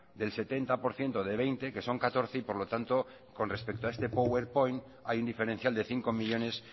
del setenta por ciento de veinte que son catorce y por lo tanto con respecto a este powerpoint hay un diferencial de cinco millónes